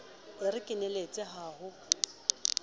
e re keneletse ha ho